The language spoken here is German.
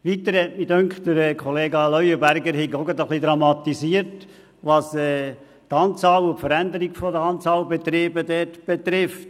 Weiter hatte ich den Eindruck, Kollega Leuenberger habe, was die Anzahl und die Veränderung der Anzahl von Betrieben betrifft, etwas dramatisiert.